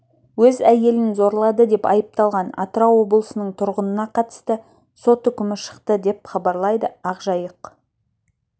өз әйелін зорлады деп айыпталған атырау облысынның тұрғынына қатысты сот үкімі шықты деп хабарлайды ақ жайық